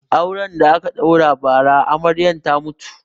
Auren da aka ɗaura ba ra Amaryan ta mutu